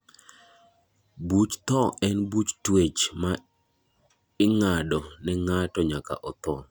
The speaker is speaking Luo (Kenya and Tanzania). Buch thoo en buch tuech ma ing'adi ne ng'ato nyaka otho.